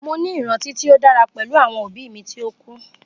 Mo ni iranti ti o dara pẹlu awọn obi mi ti o ku.